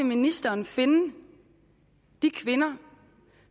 ministeren finde de kvinder